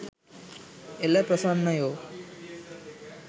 එල ප්‍රසන්නයෝ.